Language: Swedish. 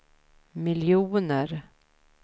miljoner